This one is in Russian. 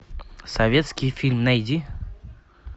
советский фильм найди